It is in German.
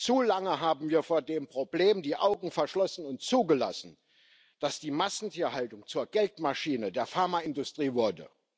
Zu lange haben wir vor dem Problem die Augen verschlossen und zugelassen, dass die Massentierhaltung zur Geldmaschine der Pharmaindustrie wurde.